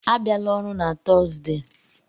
A bịala ọrụ na Tọọzdee!